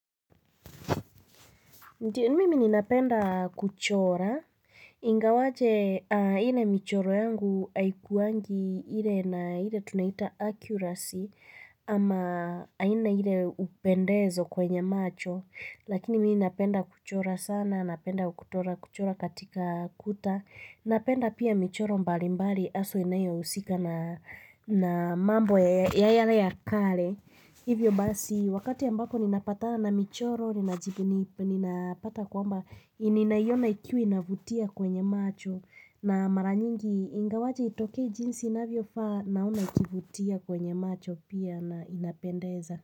Ndiyo mimi ni napenda kuchora, ingawaje ile michoro yangu haikuwangi ile na ile tunaita accuracy, ama haina ile upendezo kwenye macho, lakini mimi napenda kuchora sana, napenda kuchora kuchora katika kuta, napenda pia michoro mbali mbali haswa inayo husika na mambo ya yale ya kale. Hivyo basi, wakati ambako ninapata na michoro, ninapata kwamba, ninaiona ikiwe ina inavutia kwenye macho na maranyingi ingawaje itokei jinsi inavyofaa naona ikivutia kwenye macho pia na inapendeza.